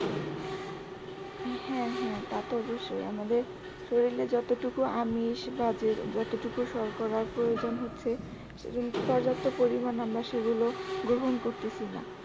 হ্যা হ্যা তা তো অব্যশই আমাদের শরীরে যতটুকু আমিষ বা যতটুকু শর্করা প্রয়োজন হচ্ছে পর্যাপ্ত পরিমান আমরা সেগুলো গ্রহণ করতেছি না